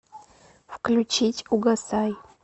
включить угасай